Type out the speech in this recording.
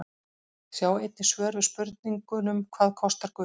Sjá einnig svör við spurningunum Hvað kostar gull?